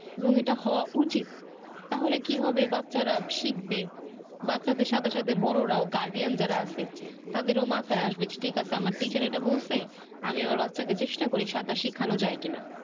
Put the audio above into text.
এবং এটা হওয়া উচিত তাহলে কি বাচ্চারা শিখবে বাচ্চাদের সাথে সাথে বড় রাও guardian যারা আছে তাদের ও মাথায় আসবে ঠিক আছে আমার teacher এটা বলছে আমি আমার বাচ্চাকে চেষ্টা করি সাঁতার শিখানো যাই কি না।